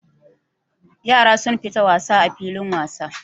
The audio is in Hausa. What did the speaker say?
Yara sun fita wasa a filin wasa.